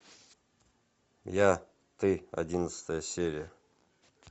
я ты одиннадцатая серия